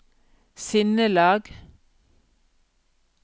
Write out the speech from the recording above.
sinnelag